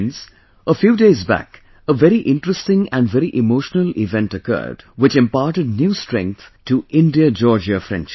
Friends, a few days back a very interesting and very emotional event occurred, which imparted new strength to IndiaGeorgia friendship